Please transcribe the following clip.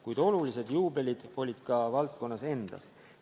Kuid olulised juubelid olid ka valdkonnas endas.